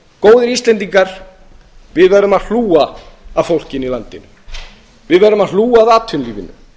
góðir íslendingar við verðum að hlúa að fólkinu í landinu við verðum að hlúa að atvinnulífinu